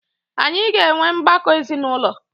Anyị ga enwe ọgbakọ ezinụlọ.